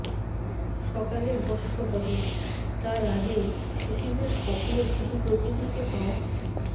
সকালে ভস্ম হবে তার আগে শিশিরের স্বপ্ন শুধু প্রকৃতিকে পাওয়া